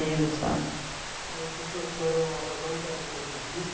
sabe. As pessoas que moram lá elas não querem saber disto?